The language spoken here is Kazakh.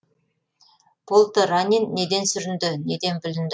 полторанин неден сүрінді неден бүлінді